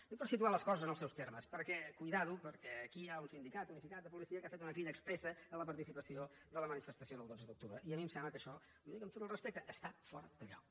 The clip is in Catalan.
ho dic per situar les coses en els seus termes perquè compte aquí hi ha un sindicat unificat de policia que ha fet una crida expressa a la participació de la manifestació del dotze d’octubre i a mi em sembla que això i ho dic amb tot el respecte està fora de lloc